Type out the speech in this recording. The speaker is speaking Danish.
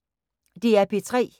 DR P3